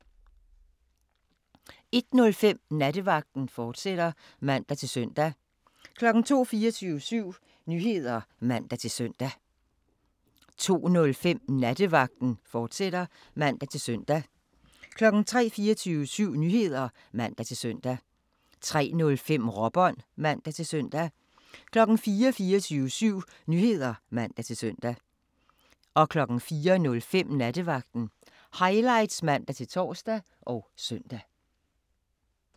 01:05: Nattevagten, fortsat (man-søn) 02:00: 24syv Nyheder (man-søn) 02:05: Nattevagten, fortsat (man-søn) 03:00: 24syv Nyheder (man-søn) 03:05: Råbånd (man-søn) 04:00: 24syv Nyheder (man-søn) 04:05: Nattevagten Highlights (man-tor og søn)